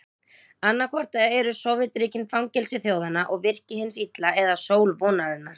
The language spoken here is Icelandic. Annaðhvort eru Sovétríkin fangelsi þjóðanna og virki hins illa eða sól vonarinnar.